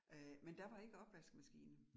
Øh men der var ikke opvaskemaskine